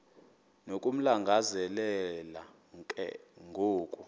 nokumlangazelela ke ngoku